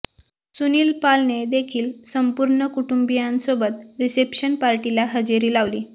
सुनील पालने देखील संपूर्ण कुटुंबियांसोबत रिसेप्शन पार्टीला हजेरी लावली